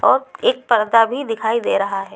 और एक पर्दा भी दिखाई दे रहा है।